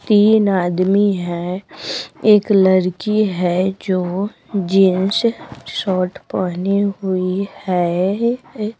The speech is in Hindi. तीन आदमी हैं एक लड़की है जो जींस शॉर्ट पहनी हुई है ए --